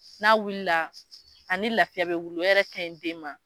N'a wulila ani lafiya bɛ wuli o yɛrɛ ka ɲi den ma